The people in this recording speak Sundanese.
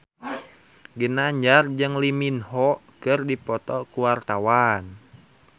Ginanjar jeung Lee Min Ho keur dipoto ku wartawan